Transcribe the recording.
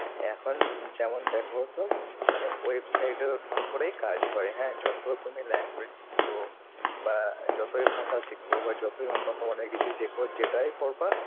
এখন যেমন দেখো সব মানে website এর ওপরেই কাজ হয় হ্যাঁ। যত তুমি language শেখ ও বা যতই ভাষা শিখু বা যতই উন্নত মানের কিছু শেখো, যেটাই করবা